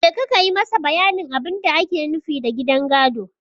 Je ka yi masa bayanin abin da ake nufi da gidan gado!